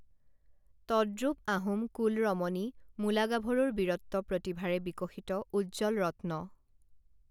তদ্ৰুপ আহোম কুল ৰমনী মূলা গাভৰুৰ বীৰত্ব প্ৰতিভাৰে বিকসিত উজ্জ্বল ৰত্ন